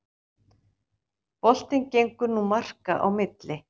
Boltinn gengur nú marka á milli